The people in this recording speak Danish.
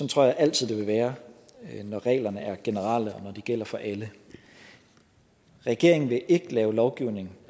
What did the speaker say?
tror jeg altid det vil være når reglerne er generelle og når de gælder for alle regeringen vil ikke lave lovgivning